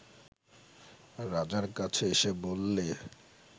রাজার কাছে এসে বললে